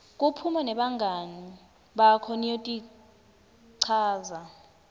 kuphuma nebangani bakho niyotichaza